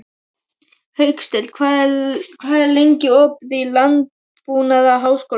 Hauksteinn, hvað er lengi opið í Landbúnaðarháskólanum?